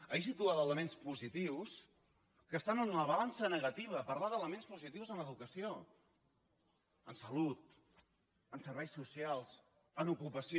ahir situava elements positius que estan en la balança negativa parlava d’elements positius en educació en salut en serveis socials en ocupació